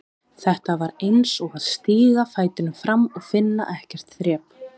Þetta var eins og að stíga fætinum fram og finna ekkert þrep.